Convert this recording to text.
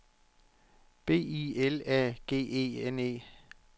B I L A G E N E